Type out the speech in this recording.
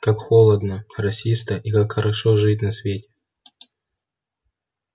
как холодно росисто и как хорошо жить на свете